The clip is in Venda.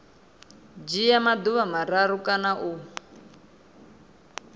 dzhia maḓuvha mararu kana u